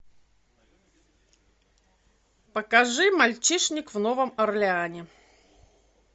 покажи мальчишник в новом орлеане